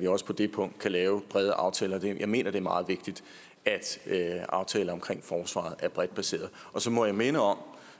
vi også på det punkt kan lave brede aftaler jeg mener det er meget vigtigt at aftaler om forsvaret er bredt baseret så må jeg minde om